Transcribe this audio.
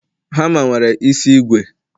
hama nwere isi ígwè